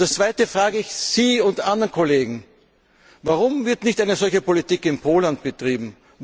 Und das Zweite frage ich Sie und andere Kollegen Warum wird eine solche Politik nicht in Polen betrieben?